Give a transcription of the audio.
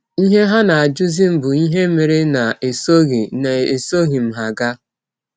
Ihe ha na - ajụzi m bụ ihe mere na esọghị na esọghị m ha gaa.